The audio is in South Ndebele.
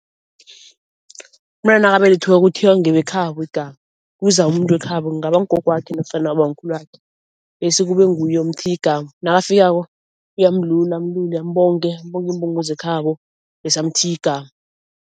Umntwana nakabelethiweko uthiywa ngebekhabo igama, kuza umuntu wekhabo kungaba ngugogwakhe nofana ubamkhulwakhe bese kube nguye omthiya igama. Nakafikako uyamlula amlule ambonge, ambonge imbongo zekhabo bese amthiye igama.